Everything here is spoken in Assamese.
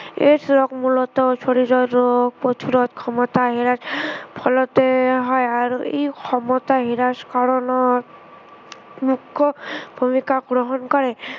AIDS ৰোগ মূলতঃ শৰীৰৰ ৰোগ প্ৰতিৰোধ ক্ষমতা হেৰুৱাৰ ফলতে হয়। আৰু ই ক্ষমতা নিৰাশকৰণৰ, মুখ্য় ভূমিকা গ্ৰহণ কৰে।